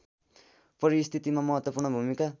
परिस्थितिमा महत्त्वपूर्ण भूमिका